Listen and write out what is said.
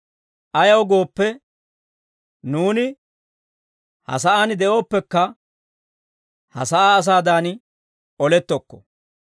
Ayaw gooppe, nuuni ha sa'aan de'ooppekka, ha sa'aa asaadan olettokko.